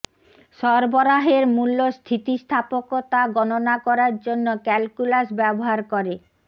সরবরাহের মূল্য স্থিতিস্থাপকতা গণনা করার জন্য ক্যালকুলাস ব্যবহার করে